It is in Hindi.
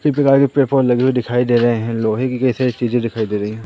फिर भी गाड़ी पे प्लेटफॉर्म लगे हुए दिखाई दे रहे हैं लोहे की कई सारी चीजें दिखाई दे रही हैं।